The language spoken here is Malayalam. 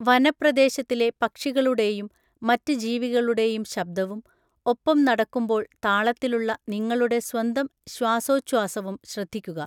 വനപ്രദേശത്തിലെ പക്ഷികളുടെയും, മറ്റ് ജീവികളുടെയും ശബ്ദവും, ഒപ്പം നടക്കുമ്പോൾ താളത്തിലുള്ള നിങ്ങളുടെ സ്വന്തം ശ്വാസോഛ്വാസവും ശ്രദ്ധിക്കുക.